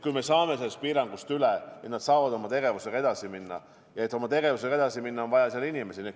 Kui me saame sellest piirangust üle, siis nad saavad oma tegevusega edasi minna, ja et oma tegevusega edasi minna, on vaja inimesi.